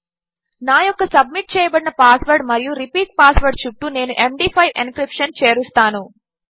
నాయొక్కసబ్మిట్చేయబడినపాస్వర్డ్మరియు repeat password చుట్టూనేను MD five encryption చేరుస్తాను